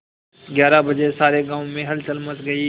ग्यारह बजे सारे गाँव में हलचल मच गई